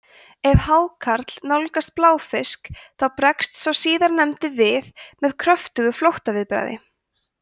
ef hákarl nálgast bláfisk þá bregst sá síðarnefndi við með kröftugu flóttaviðbragði